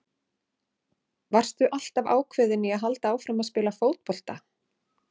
Varstu alltaf ákveðinn í að halda áfram að spila fótbolta?